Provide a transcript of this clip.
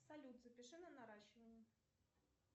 салют запиши на наращивание